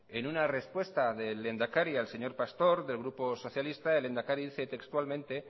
en una respuesta del lehendakari al señor pastor del grupo socialista el lehendakari dice textualmente